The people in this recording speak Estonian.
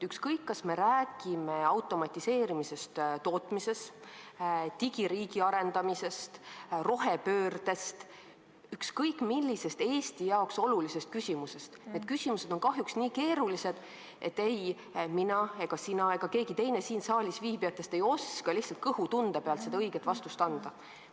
Ükskõik, kas me räägime automatiseerimisest tootmises, digiriigi arendamisest, rohepöördest või muust Eesti jaoks olulisest küsimusest, need küsimused on kahjuks nii keerulised, et ei mina, sina ega keegi teine siin saalis viibijatest oska lihtsalt kõhutunde pealt õiget vastust anda.